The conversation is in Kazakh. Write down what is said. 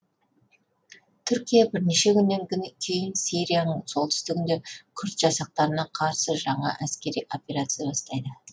түркия бірнеше күннен кейін сирияның солтүстігінде күрд жасақтарына қарсы жаңа әскери операция бастайды